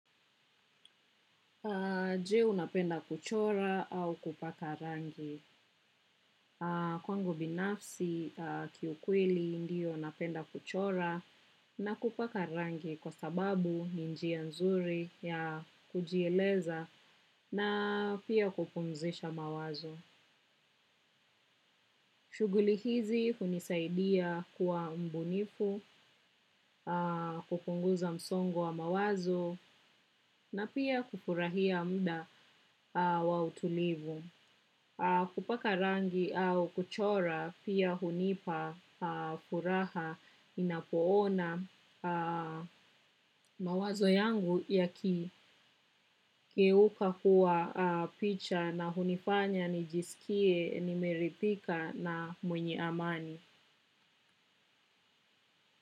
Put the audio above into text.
Je unapenda kuchora au kupaka rangi. Kwangu binafsi kiukweli ndiyo napenda kuchora na kupaka rangi kwa sababu ni njia nzuri ya kujieleza na pia kupumzisha mawazo. Shuguli hizi hunisaidia kuwa mbunifu, kupunguza msongo wa mawazo na pia kufurahia muda wa utulivu. Kupaka rangi au kuchora pia hunipa furaha inapoona mawazo yangu yakigeuka kuwa picha na hunifanya nijisikie nimeridhika na mwenye amani.